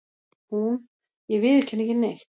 Hún:- Ég viðurkenni ekki neitt.